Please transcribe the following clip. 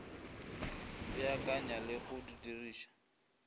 beakanya le go e diriša